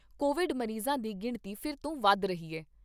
Covid ਮਰੀਜ਼ਾਂ ਦੀ ਗਿਣਤੀ ਫਿਰ ਤੋਂ ਵੱਧ ਰਹੀ ਐ।